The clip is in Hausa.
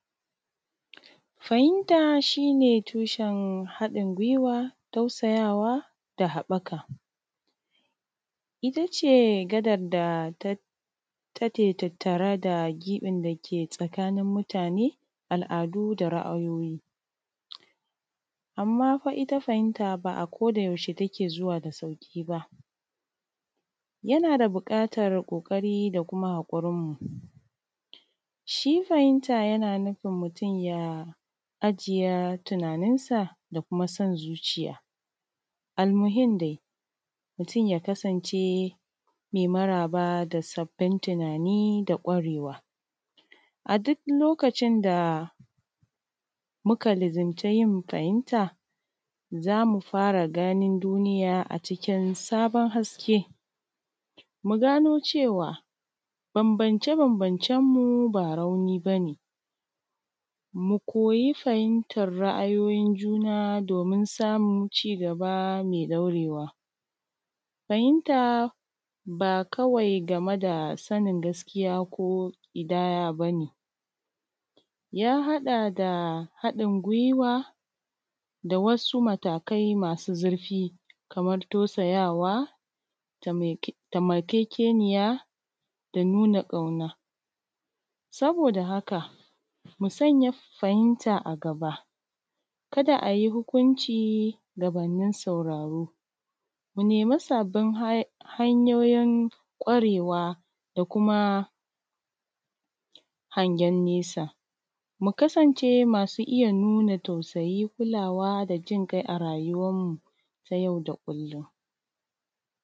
Fahimta shi ne tushen haɗin gwiwa tausayawa da haɓaka, ita ce gadan da take tattare da giɓin dake tsakanin mutane, al’adu da ra’ayoyi, amma fa ita fahimta ba a kodayaushe take zuwa da sauƙi ba, tana da buƙatan ƙoƙari da kuma haƙurin mu. Shi fahimta yana nufin mutum ya ajiye tunaninsa da kuma son zuciya, da kuma yanda mutum ya kasance mai maraba da sabbin tunani da kwarewa, a duk lokacin da muka luzumci yin fahimta za mu fara ganin duniya a cikin sabon haske, mu gano cewa bambance-bambancen mu ba rauni ba ne, mu koyi fahimtar ra’ayoyin juna domin samun cigaba mai ɗaurewa. Fahimta ba kawai game da sani gaskiya ko ƙidaya ba ne ya haɗa da haɗin gwiwa, wasu matakai masu zurfi kamar tausayawa, taimakekeniya, nuna ƙauna. Saboda haka mu sanya fahimta a gaba ka da a yi hukunci gabanin sauraro, nemi sabbin hanyoyin kwarewa da kuma hangen nesa, ku kasance masu iya nuna tausayi, kulawa da jikai a rayuwanmu ta yau da kullum.